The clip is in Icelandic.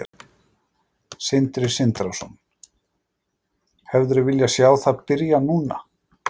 Sindri Sindrason: Hefðirðu viljað sjá það byrja núna?